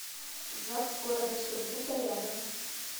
загс г сургута рядом